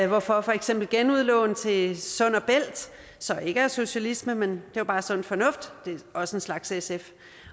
hvorfor for eksempel genudlån til sund bælt så ikke er socialisme man det er bare sund fornuft også en slags sf